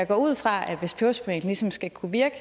går ud fra at hvis peberspray ligesom skal kunne virke